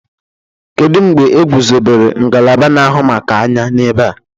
kedụ mgbe egwuzobere ngalaba na-ahụ maka anya n'ebe a?